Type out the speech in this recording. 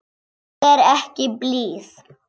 Ég er ekki blíð.